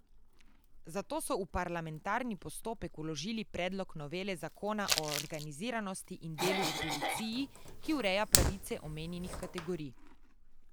Zato so v parlamentarni postopek vložili predlog novele zakona o organiziranosti in delu v policiji, ki ureja pravice omenjenih kategorij.